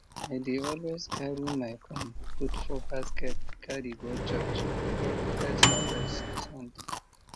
i dey always carry my corn put for basket carry go church for first harvest sunday